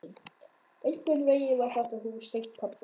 Einhvern veginn var þetta hús tengt pabba.